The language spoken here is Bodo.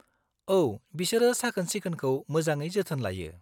-औ, बिसोरो साखोन-सिखोनखौ मोजाङै जोथोन लायो।